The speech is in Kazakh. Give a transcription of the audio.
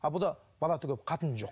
ал бала түгілі қатыны жоқ